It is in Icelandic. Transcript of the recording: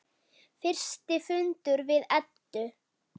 Fyrsti fundur við Eddu.